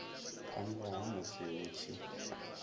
phanḓa ha musi hu tshi